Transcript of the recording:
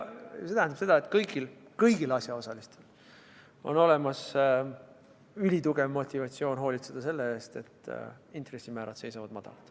See tähendab seda, et kõigil asjaosalistel on olemas ülitugev motivatsioon hoolitseda selle eest, et intressimäärad seisavad madalad.